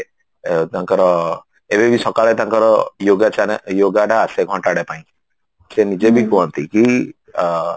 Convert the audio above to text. ତାଙ୍କର ଏବେବି ସକାଳେ ତାଙ୍କର yoga ଚାନେ yoga ତା ଆସେ ଘଣ୍ଟାଟେ ପାଇଁ ସେ ନିଜେ ବି କୁହନ୍ତି କି